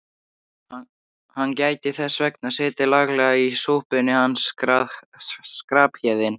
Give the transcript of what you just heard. Hann gæti þess vegna setið laglega í súpunni hann Skarphéðinn.